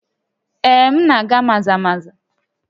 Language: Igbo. Ee, m na-aga Maza-Maza